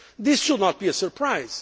This should not be a surprise.